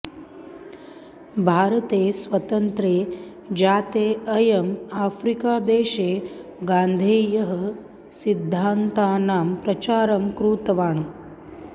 भारते स्वतन्त्रे जाते अयम् आफ्रीकादेशे गान्धेः सिद्धान्तानां प्रचारं कृतवान्